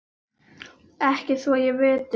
Ekki svo ég viti.